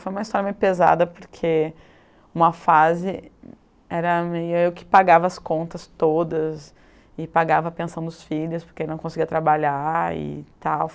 Foi uma história meio pesada, porque uma fase era meio eu que pagava as contas todas e pagava a pensão dos filhos, porque ele não conseguia trabalhar e tal.